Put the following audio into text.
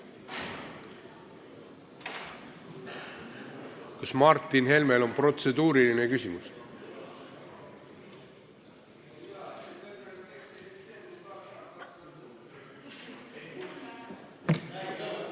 Kas Martin Helmel on protseduuriline küsimus?